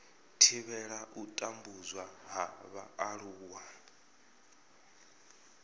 thivhela u tambudzwa ha vhaaluwa